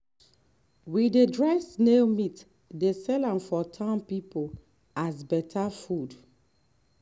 we dey dry snail meat dey sell am for town people as better food